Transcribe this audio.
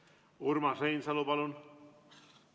Urmas Reinsalu, palun!